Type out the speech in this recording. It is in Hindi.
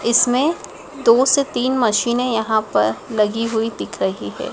इसमें दो से तीन मशीने यहां पर लगी हुई दिख रही है।